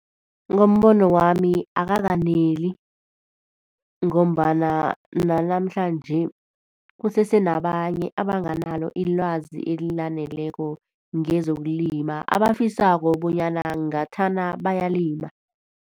Ngombono wami akakaneli, ngombana nanamhlanje kusese nabanye abangenalo ilwazi elaneleko ngezokulima abafisako bonyana ngathana bayalima.